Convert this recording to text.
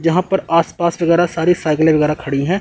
जहां पर आसपास वगैरा सारी साइकिलें वगैरह खड़ी हैं।